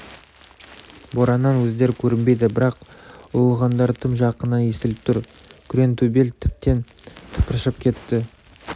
бораннан өздері көрінбейді бірақ ұлығандары тым жақыннан естіліп тұр күреңтөбел тіптен тыпыршып кетті